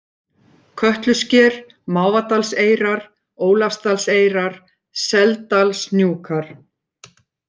Kötlusker, Mávadalseyrar, Ólafsdalseyrar, Seldalshnúkar